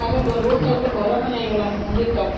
ଏବେ road side ରେ ଘର ସବୁ ହେଇଗଲାଣି ମନ୍ଦିର ଲାଗିକି